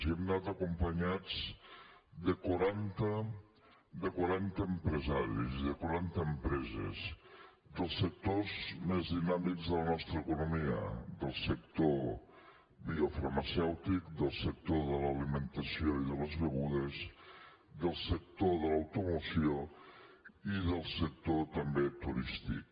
hi hem anat acompanyats de quaranta empresaris i de quaranta empreses dels sectors més dinàmics de la nostra economia del sector biofarmacèutic del sector de l’alimentació i de les begudes del sector de l’automoció i del sector també turístic